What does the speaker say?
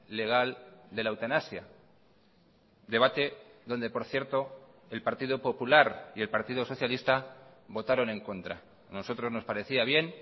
legal de la eutanasia debate donde por cierto el partido popular y el partido socialista votaron en contra a nosotros nos parecía bien